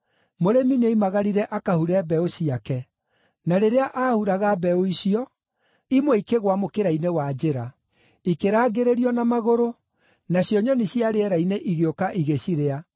Mũrĩmi nĩoimagarire akahure mbeũ ciake. Na rĩrĩa aahuraga mbeũ icio, imwe ikĩgũa mũkĩra-inĩ wa njĩra; ikĩrangĩrĩrio na magũrũ, nacio nyoni cia rĩera-inĩ igĩũka igĩcirĩa.